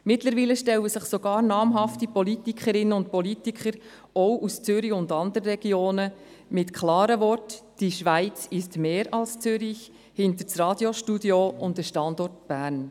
Mittlerweile stellen sich sogar namhafte Politikerinnen und Politiker – auch aus Zürich und anderen Regionen – mit klaren Worten hinter das Radiostudio und den Standort Bern;